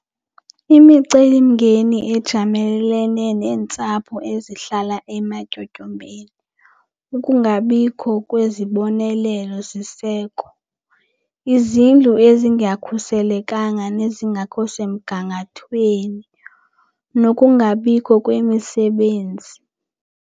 Imicelimngeni ejamelene neentsapho ezihlala ematyotyombeni. Ukungabikho kwezibonelelo siseko, izindlu ezingakhuselekanga nezingakho semgangathweni, nokungabikho kwemisebenzi.